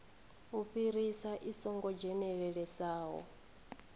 u fhirisa i songo dzhenelelesaho